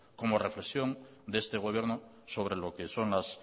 como reflexión de este gobierno sobre lo que son las